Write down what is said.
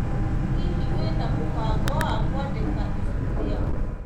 Hihi, wĩna mũbango wa kũandĩka ibuku rĩaku?